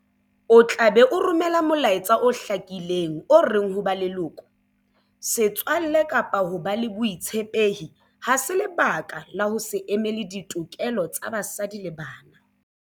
O tla be o romela molaetsa o hlakileng o reng ho ba leloko, setswalle kapa ho ba le botshepehi ha se lebaka la ho se emele ditokelo tsa basadi le bana.